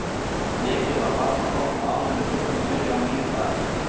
Blekið var varla þornað áður en við þurftum að byrja á nýju blaði.